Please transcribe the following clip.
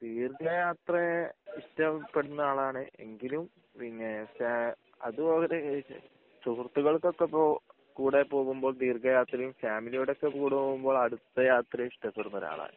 ദീർഘയാത്ര ഇഷ്ടപ്പെടുന്ന ആളാണ് എങ്കിലും പിന്നെ ചെ അതും അവര് സുഹൃത്തുക്കൾക്കൊക്കെപ്പൊ കൂടി പോകുമ്പോൾ ദീർഘയാത്രയും ഫാമിലിടെ ഒകെ കൂടെ പോകുമ്പോൾ അടുത്ത യാത്രയും ഇഷ്ടപ്പെടുന്ന ഒരാളാണ്